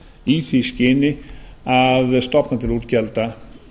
í því skyni að stofna til útgjalda